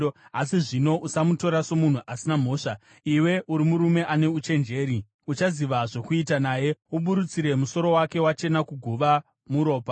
Asi zvino usamutora somunhu asina mhosva. Iwe uri murume ane uchenjeri, uchaziva zvokuita naye. Uburutsire musoro wake wachena, kuguva muropa.”